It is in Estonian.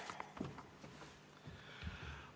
Aitäh!